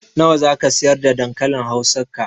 Nawa zaka siyar da dankalin hausa ka?